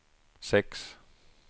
sex